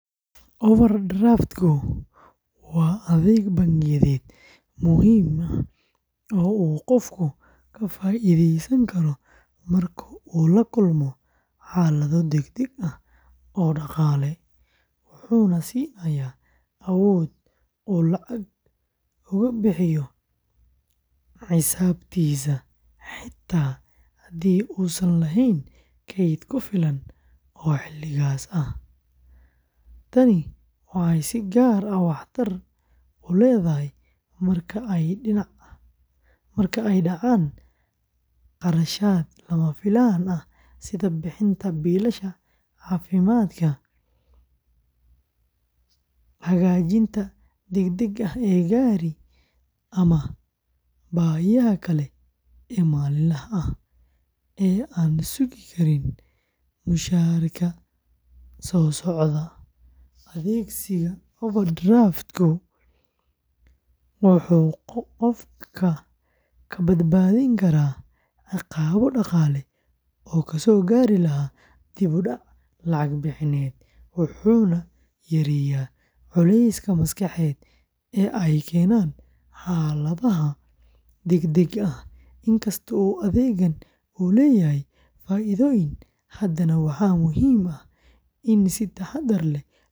Overdraft-ku waa adeeg bangiyeed muhiim ah oo uu qofku ka faa’iideysan karo marka uu la kulmo xaalado degdeg ah oo dhaqaale, wuxuuna siinayaa awood uu lacag uga bixiyo xisaabtiisa xitaa haddii uusan lahayn kayd ku filan oo xilligaas ah. Tani waxay si gaar ah waxtar u leedahay marka ay dhacaan kharashaad lama filaan ah sida bixinta biilasha caafimaadka, hagaajinta degdegga ah ee gaari, ama baahiyaha kale ee maalinlaha ah ee aan sugi karin mushaharka soo socda. Adeegsiga overdraft-ka wuxuu qofka ka badbaadin karaa ciqaabo dhaqaale oo kasoo gaari lahaa dib-u-dhac lacag bixineed, wuxuuna yareeyaa culayska maskaxeed ee ay keenaan xaaladaha degdegga ah. Inkasta oo adeeggan uu leeyahay faa’iidooyin, haddana waxaa muhiim ah in si taxaddar leh loo adeegsado.